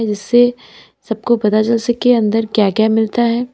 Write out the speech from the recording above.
इससे सबको पता चल सके अंदर क्या क्या मिलता है।